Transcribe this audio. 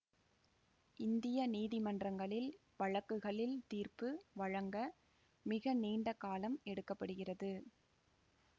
இந்திய நீதிமன்றகளில் வழக்குகளில் தீர்ப்பு வழங்க மிக நீண்ட காலம் எடுக்க படுகிறது